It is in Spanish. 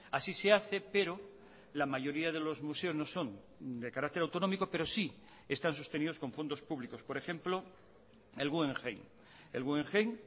así se hace pero la mayoría de los museos no son de carácter autonómico pero sí están sostenidos con fondos públicos por ejemplo el guggenheim el guggenheim